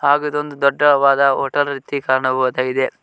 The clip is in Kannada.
ಹಾಗು ಇದೊಂದು ದೊಡ್ಡವಾದ ಹೋಟೆಲ್ ರೀತಿ ಕಾಣಬಹುದಾಗಿದೆ.